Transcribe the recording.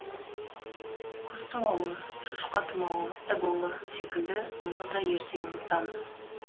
құс тұмауы шошқа тұмауы эбола секілді мұны да ертең ұмытамыз